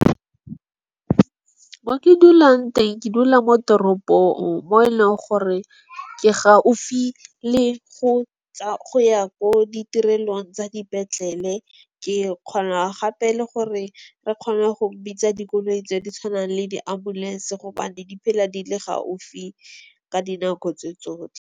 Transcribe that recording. Moo ke dulang teng ke dula mo teropong mo e leng gore ke gaufi le go go ya ko ditirelong tsa dipetlele. Ke kgona gape le gore re kgone go bitsa dikoloi tse di tshwanang le di-ambulance. Gobane di phela di le gaufi ka dinako tse tsotlhe.